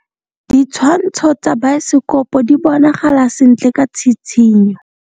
Ditshwantshô tsa biosekopo di bonagala sentle ka tshitshinyô.